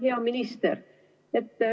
Hea minister!